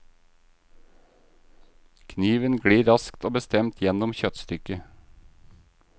Kniven glir raskt og bestemt gjennom kjøttstykket.